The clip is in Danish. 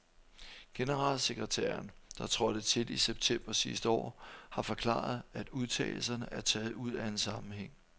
Generalsekretæren, der trådte til i september sidste år, har forklaret, at udtalelserne er taget ud af en sammenhæng.